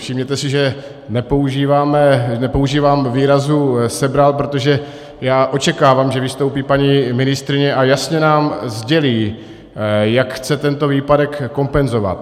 Všimněte si, že nepoužívám výrazu sebral, protože já očekávám, že vystoupí paní ministryně a jasně nám sdělí, jak chce tento výpadek kompenzovat.